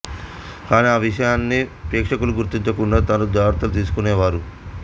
కానీ ఆ విషయాన్ని ప్రేక్షకులు గుర్తించకుండా తగు జాగ్రత్తలు తీసుకొనేవారు